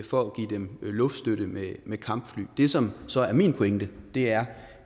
for at give dem luftstøtte med med kampfly det som så er min pointe er